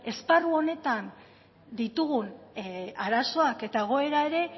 esparru honetan ditugun arazoak eta egoera ere